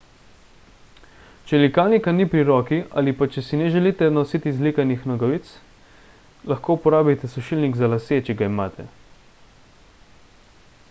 če likalnika ni pri roki ali pa če si ne želite nositi zlikanih nogavic lahko uporabite sušilnik za lase če ga imate